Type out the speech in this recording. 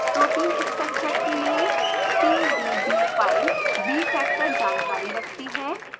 protein structure के लिए pdb file bfactor जानकारी रखती है